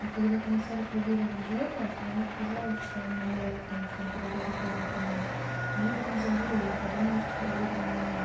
и когда комиссары проверил джека то ему показалось что он маньяк потому что он перед этим ходил ко мне а я об этом забыла и я подумала что проверили меня